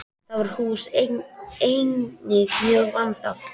Það hús er einnig mjög vandað.